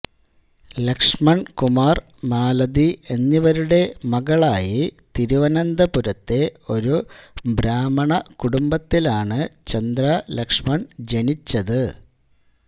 ലക്ഷ്മണൻ കുമാർ മാലതി എന്നിവരുടെ മകളായി തിരുവനന്തപുരത്തെ ഒരു ബ്രാഹ്മണ കുടുംബത്തിലാണ് ചന്ദ്ര ലക്ഷ്മൺ ജനിച്ചത്